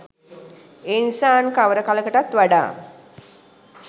එනිසා අන් කවර කලකටත් වඩා